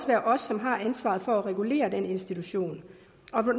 være os som har ansvaret for at regulere den institution